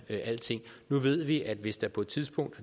vi alting nu ved vi at hvis der på et tidspunkt og